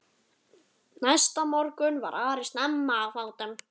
Næsta morgun var Ari snemma á fótum.